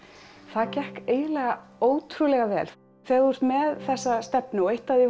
það gekk eiginlega ótrúlega vel þegar þú ert með þessa stefnu og eitt af því